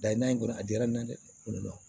Dayi nan in kɔnɔ a diyara n ɲe dɛ